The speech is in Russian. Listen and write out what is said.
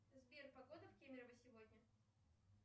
сбер погода в кемерово сегодня